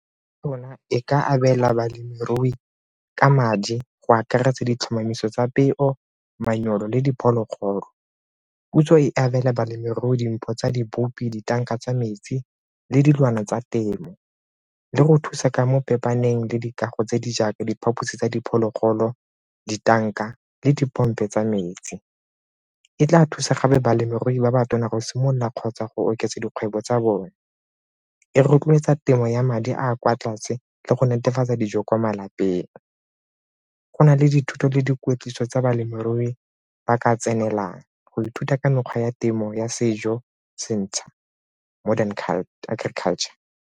Le yona e ka abela balemirui ka madi go akaretsa ditlhomamiso tsa peo, manyoro le diphologolo. Puso e abela balemirui dimpho tsa di , ditanka tsa metsi le dilwana tsa temo le go thusa ka mo le dikago tse di jaaka diphaphosi tsa diphologolo ditanka le dipompo tsa metsi. E tla thusa gape balemirui ba ba tona go simolola kgotsa go oketsa dikgwebo tsa bone. E rotloetsa temo ya madi a a kwa tlase le go netefatsa dijo kwa malapeng, go na le dithuto le kweetliso tsa balemirui ba ka tsenelelang go ithuta ka mekgwa ya temo ya sejo se ntšha, modern agriculture.